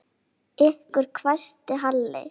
Ykkur hvæsti Halli.